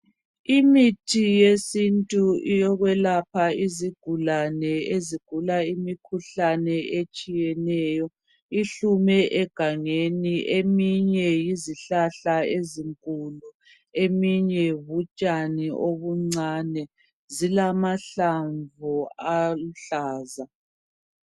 Imithi yesintu yokwelapha izigulane ezigula imikhuhlane etshiyeneyo. Ihlume egangeni. Eminye yizihlahla ezinkulu, eminye lutshane oluncinyane. Zilamahlamvu aluhlaza.